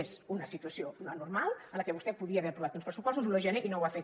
és una situació normal en la qual vostè podia haver aprovat uns pressupostos l’un de gener i no ho ha fet